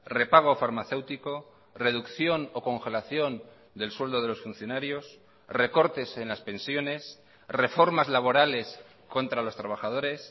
repago farmacéutico reducción o congelación del sueldo de los funcionarios recortes en las pensiones reformas laborales contra los trabajadores